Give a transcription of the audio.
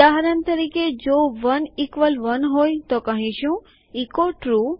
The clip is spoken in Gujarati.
ઉદાહરણ તરીકે જો 1 ઇકવલ 1 હોય તો કહીશું એચો ટ્રૂ